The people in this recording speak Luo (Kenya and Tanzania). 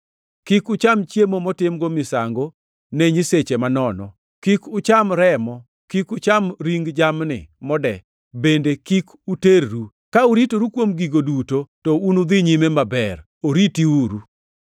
Kik ucham chiemo motimgo misango ne nyiseche manono, kik ucham remo; kik ucham ring jamni mode bende kik uterru. Ka uritoru kuom gigo duto, to unudhi nyime maber. Oritiuru.